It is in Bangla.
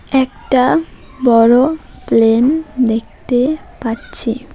একটা বড় প্লেন দেখতে পাচ্ছি।